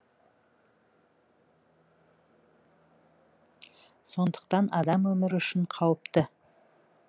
сондықтан адам өмірі үшін қауіпті